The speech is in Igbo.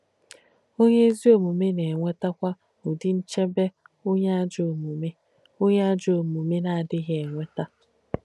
Onyè èzí òmùmè nà-ènwétàkwà ùdí ǹchèbè onyè àjọ́ òmùmè onyè àjọ́ òmùmè nà-àdíghì ènwéta.